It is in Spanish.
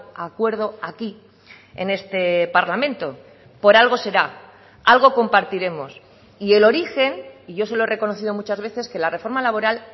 a acuerdo aquí en este parlamento por algo será algo compartiremos y el origen y yo se lo he reconocido muchas veces que la reforma laboral